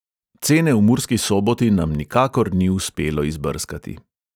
Cene v murski soboti nam nikakor ni uspelo izbrskati.